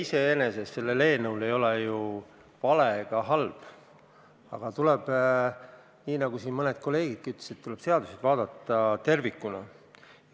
Selle eelnõu idee iseenesest ei ole ju vale ega halb, aga tuleb, nagu siin mõned kolleegidki ütlesid, seadust vaadata tervikuna.